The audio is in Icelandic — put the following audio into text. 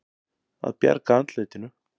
Að bjarga andlitinu